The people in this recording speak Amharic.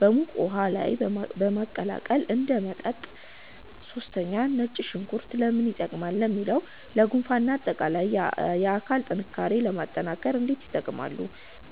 በሙቅ ውሃ ላይ በማቀላቀል እንደ መጠጥ 3) ነጭ ሽንኩርት (Garlic) ለምን ይጠቀማሉ ለሚለው? ለጉንፋን እና ለአጠቃላይ የአካል ጥንካሬ ለማጠናከር እንዴት ይጠቀማሉ?